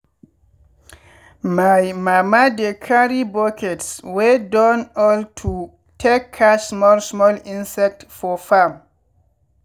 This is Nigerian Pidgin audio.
my mama dey carry buckets wey don old to take catch small small insect for farm.